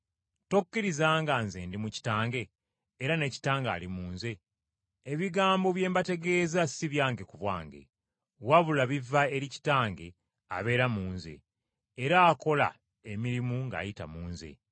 Tokkiriza nga Nze ndi mu Kitange era ne Kitange ali mu Nze? Ebigambo bye mbategeeza si byange ku bwange, wabula biva eri Kitange abeera mu Nze, era akola emirimu ng’ayita mu Nze.